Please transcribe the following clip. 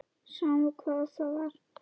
Sama hvað það var.